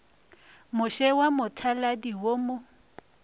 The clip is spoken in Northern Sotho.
moše wa mothaladi wo mo